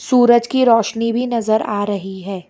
सूरज की रोशनी भी नजर आ रही है।